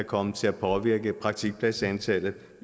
komme til at påvirke praktikpladsantallet